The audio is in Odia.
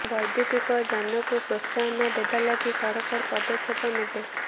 ବୈଦ୍ୟୁତିକ ଯାନକୁ ପ୍ରୋତ୍ସାହନ ଦେବା ଲାଗି ସରକାର ପଦକ୍ଷେପ ନେବେ